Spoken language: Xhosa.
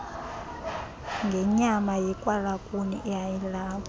ngenyama yekwalakuni eyayilapho